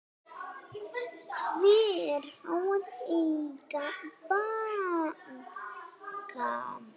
Hver á að eiga banka?